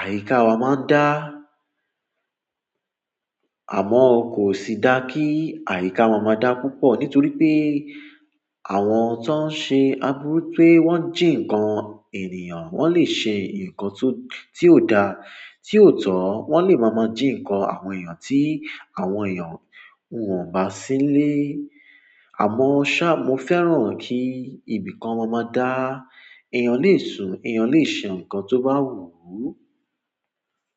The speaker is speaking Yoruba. àyíká wa máa ń dá. Àmọ́ kò sì dá kí àyíká wa máa dá púpọ̀ nítorí pé àwọn tó ń ṣe aburú pé wọ́n ń jí ǹkan ènìyàn, wọ́n lè ṣe ǹkan tó, tí ò da, tí ò tọ́. Wọ́n lè máa máa jí ǹkan àwọn èèyàn tí àwọn èèyàn ò bá sílé. Àmọ́ ṣá, mo fẹ́ràn kí ibìkan máa máa dá. Ẹ̀yàn lè sùn, ẹ̀yàn lè ṣe ǹkan tó bá wù ú.